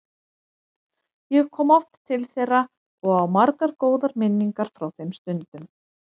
Ég kom oft til þeirra og á margar góðar minningar frá þeim stundum.